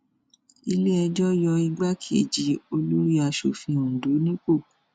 iléẹjọ yọ igbákejì olórí asòfin ondo nípò